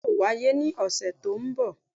bẹẹni, yoo waye ni ọsẹ to nbo.